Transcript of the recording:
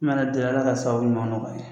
Min mana deli Ala ka sababu ɲuman nɔgɔya ye